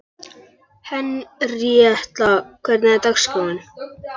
Henríetta, hvernig er dagskráin?